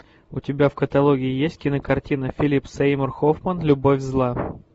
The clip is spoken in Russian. у тебя в каталоге есть кинокартина филип сеймур хоффман любовь зла